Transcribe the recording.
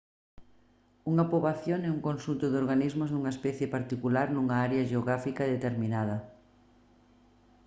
unha poboación é un conxunto de organismos dunha especie particular nunha área xeográfica determinada